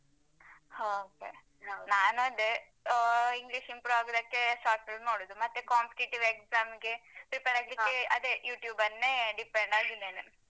ಹಾ okay ನಾನ್ ಅದೇ ಅಹ್ English improve ಆಗುದಕ್ಕೆ short film ನೋಡುದು ಮತ್ತೆ competitive exams ಗೆ prepare ಆಗ್ಲಿಕೆ ಅದೇ YouTube ನ್ನೆ depend ಆಗಿದ್ದೇನೆ.